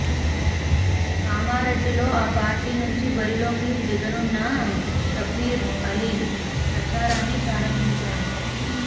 కామారెడ్డిలో ఆ పార్టీ నుంచి బరిలోకి దిగనున్న షబ్బీర్అలీ ప్రచారాన్ని ప్రారంభించారు